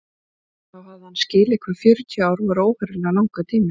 Og þá hafði hann skilið hvað fjörutíu ár voru óheyrilega langur tími.